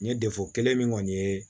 N ye kelen min kɔni ye